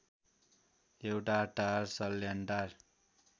एउटा टार सल्यानटार